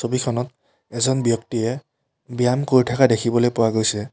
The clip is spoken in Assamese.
ছবিখনত এজন ব্যক্তিয়ে ব্যায়াম কৰি থাকা দেখিবলৈ পোৱা গৈছে।